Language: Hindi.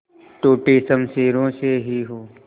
टूटी शमशीरों से ही हो